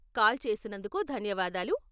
Call చేసినందుకు ధన్యవాదాలు.